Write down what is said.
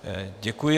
Děkuji.